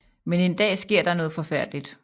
Men en dag sker der noget forfærdeligt